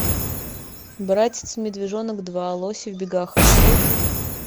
братец медвежонок два лоси в бегах открой